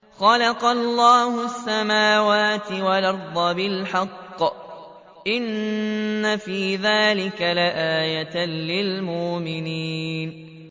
خَلَقَ اللَّهُ السَّمَاوَاتِ وَالْأَرْضَ بِالْحَقِّ ۚ إِنَّ فِي ذَٰلِكَ لَآيَةً لِّلْمُؤْمِنِينَ